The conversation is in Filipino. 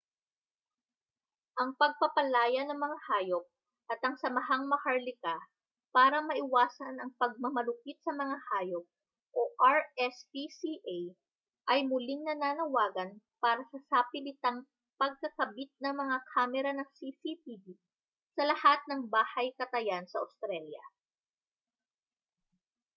ang pagpapalaya ng mga hayop at ang samahang maharlika para maiwasan ang pagmamalupit sa mga hayop rspca ay muling nananawagan para sa sapilitang pagkakabit ng mga kamera ng cctv sa lahat ng bahay-katayan sa australya